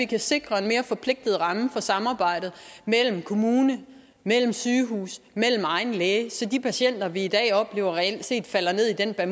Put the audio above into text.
kan sikre en mere forpligtende ramme for samarbejdet mellem kommune sygehus og egen læge så de patienter vi i dag oplever reelt set falder ned i den her